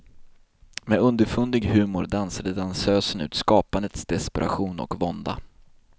Med underfundig humor dansade dansösen ut skapandets desperation och vånda.